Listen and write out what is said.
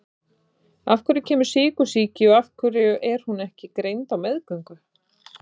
Af hverju kemur sykursýki og af hverju er hún ekki greind á meðgöngu?